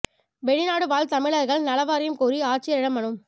வெளிநாடு வாழ் தமிழா்கள் நல வாரியம் கோரி ஆட்சியரிடம் மனு